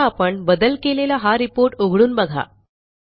आता आपण बदल केलेला हा रिपोर्ट उघडून बघा